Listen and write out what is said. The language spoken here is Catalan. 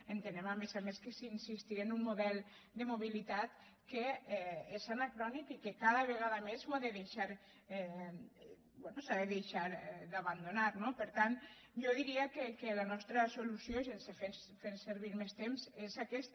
ente·nem a més a més que és insistir en un model de mo·bilitat que és anacrònic i que cada vegada més s’ha de deixar d’abandonar no per tant jo diria que la nostra solució i sense fer ser·vir més temps és aquesta